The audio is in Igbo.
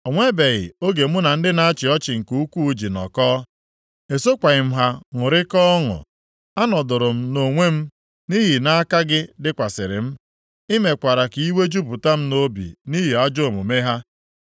O nwebeghị oge mụ na ndị na-achị ọchị nke ukwuu ji nọkọọ. Esokwaghị m ha ṅụrịkọọ ọṅụ. A nọdụụrụ m onwe m nʼihi na aka gị dịkwasịrị m. I mekwara ka iwe jupụta m nʼobi nʼihi ajọ omume ha.